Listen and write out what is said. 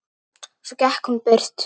Svo gekk hún burt.